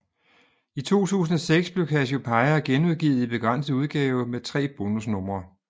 I 2006 blev Cassiopeia genudgivet i begrænset udgave med tre bonusnumre